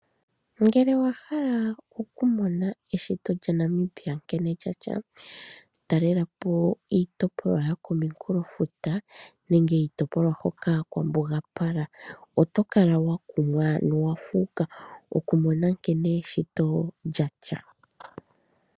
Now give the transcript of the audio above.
Ngele owahala okumona eshito lyaNamibia nkene lyatya, talelapo iitopolwa yokominkulofuta, nenge iitopolwa hoka kwa mbugapala. Oto kala wa kumwa no wafuuka, okumona eshito nkene lyatya.